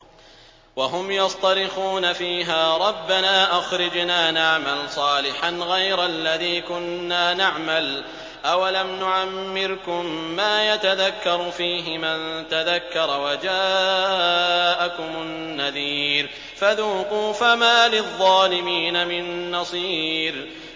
وَهُمْ يَصْطَرِخُونَ فِيهَا رَبَّنَا أَخْرِجْنَا نَعْمَلْ صَالِحًا غَيْرَ الَّذِي كُنَّا نَعْمَلُ ۚ أَوَلَمْ نُعَمِّرْكُم مَّا يَتَذَكَّرُ فِيهِ مَن تَذَكَّرَ وَجَاءَكُمُ النَّذِيرُ ۖ فَذُوقُوا فَمَا لِلظَّالِمِينَ مِن نَّصِيرٍ